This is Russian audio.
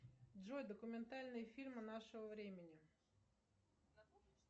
джой документальные фильмы нашего времени